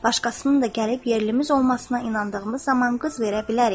Başqasının da gəlib yerlimiz olmasına inandığımız zaman qız verə bilərik.